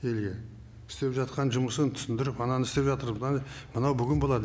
или істеп жатқан жұмысын түсіндіріп ананы істеп жатырмыз мынаны мынау бүгін болады